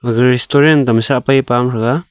restaurant to sa pai pao taga.